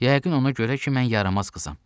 Yəqin ona görə ki, mən yaramaz qızam.